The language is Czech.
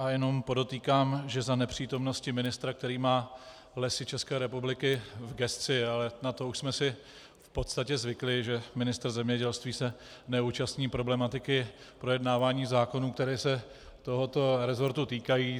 A jen podotýkám, že za nepřítomnosti ministra, který má Lesy České republiky v gesci, ale na to už jsme si v podstatě zvykli, že ministr zemědělství se neúčastní problematiky projednávání zákonů, které se tohoto resortu týkají.